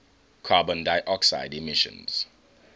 carbon dioxide emissions